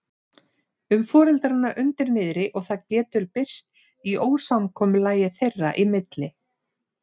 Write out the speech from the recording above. um foreldrana undir niðri og það getur birst í ósamkomulagi þeirra í milli.